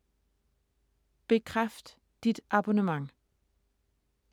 Bekræft dit abonnement